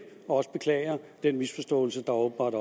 og også beklager den misforståelse der åbenbart